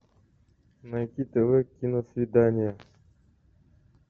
найти тв киносвидание